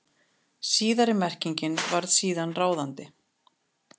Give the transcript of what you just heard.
Síðari merkingin varð síðan ráðandi.